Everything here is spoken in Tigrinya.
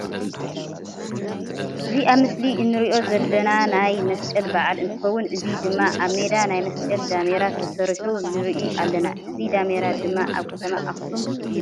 እዚ ኣብ ምስሊ እንሪኦ ዘለና ናይ መስቀል በዓል እንትከውን እዚ ድማ ኣብ ሜዳ ናይ መስቀል ዳሜራ ተሰሪሑ ንርኢ ኣለና። እዚ ዳሜራ ድማ ኣብ ከተማ ኣክሱም እዩ።